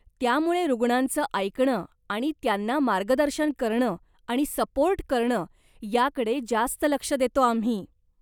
त्यामुळे रुग्णांचं ऐकणं आणि त्यांना मार्गदर्शन करणं आणि सपोर्ट करणं याकडे जास्त लक्ष देतो आम्ही.